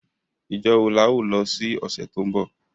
Ijo wo la o lo si ọ̀sẹ̀ to nbọ?